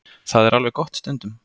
Það er alveg gott stundum.